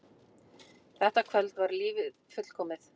Þetta kvöld var lífið fullkomið.